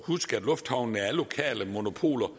huske at lufthavnene er lokale monopoler